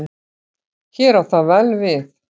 Hér á það vel við.